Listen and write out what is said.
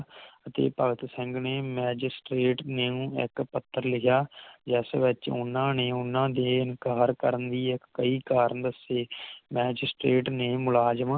ਅਤੇ ਭਗਤ ਸਿੰਘ ਨੇ Magistrate ਨੂੰ ਇਕ ਪੱਤਰ ਲਿਖਿਆ ਜਿਸ ਵਿਚ ਓਹਨਾ ਨੇ ਓਹਨਾ ਦੇ ਇਨਕਾਰ ਕਰਨ ਦੇ ਕਈ ਕਾਰਨ ਦਸੇ Magistrate ਨੇ ਮੁਲਾਜ਼ਮਾ